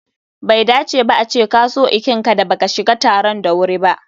Bai dace ba a ce ka so ikinka da baka shiga taron da wuri ba.